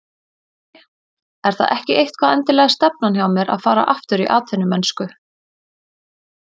Í rauninni er það ekki eitthvað endilega stefnan hjá mér að fara aftur í atvinnumennsku.